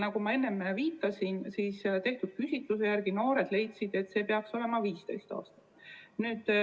Nagu ma enne viitasin, leidsid küsitluse järgi noored, et see peaks olema 15. eluaasta.